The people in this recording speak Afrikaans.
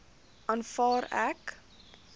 aanvaar ek